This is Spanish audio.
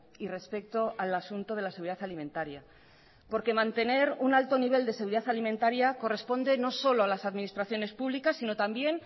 y respecto al asunto de la seguridad alimentaria porque mantener un alto nivel de seguridad alimentaria corresponde no solo a las administraciones públicas sino también